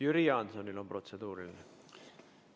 Jüri Jaansonil on protseduuriline küsimus.